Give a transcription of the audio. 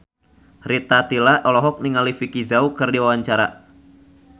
Rita Tila olohok ningali Vicki Zao keur diwawancara